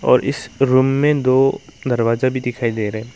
और इस रूम में दो दरवाजा भी दिखाई दे रहा है।